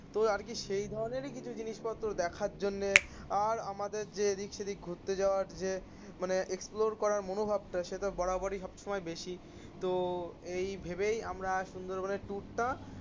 তো আর কি সেই ধরনেরই কিছু জিনিসপত্র দেখার জন্যে আর আমাদের যে এদিক সেদিক ঘুরতে যাওয়ার যে মানে এক্সপ্লোর করার মনোভাবটা সে তো বরাবরই সব সময় বেশি. তো এই ভেবেই আমরা সুন্দরবনের টুরটা